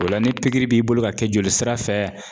O la ni pikiri b'i bolo ka kɛ jolisira fɛ